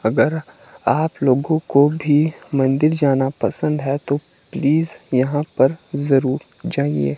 अगर आप लोगों को भी मंदिर जाना पसंद है तो प्लीज यहां पर जरूर जाइए।